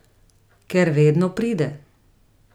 Ker vedno pride.